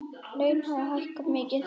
Laun hafi hækkað mikið.